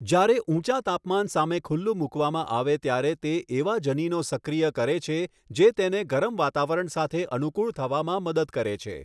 જ્યારે ઊંચાં તાપમાન સામે ખુલ્લુ મૂકવામાં આવે ત્યારે તે એવા જનીનો સક્રિય કરે છે જે તેને ગરમ વાતાવરણ સાથે અનુકૂળ થવામાં મદદ કરે છે.